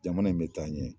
Jamana in bɛ taa ɲɛ